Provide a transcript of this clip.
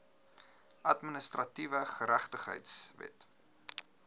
administratiewe geregtigheid wet